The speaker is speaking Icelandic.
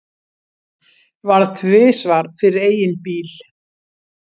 Varð tvisvar fyrir eigin bíl